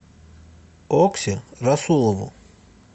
окси расулову